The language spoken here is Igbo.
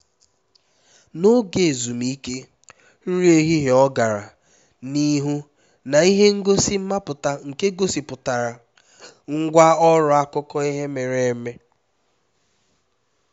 n'oge ezumike nri ehihie ọ gara n'ihu na ihe ngosi mmapụta nke gosipụtara ngwá ọrụ akụkọ ihe mere eme